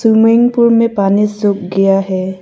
Swimming pool में पानी सूख गया है।